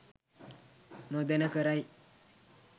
නොදැන කරයි.